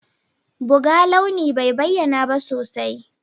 Buga launi bai bayyana ba sosai.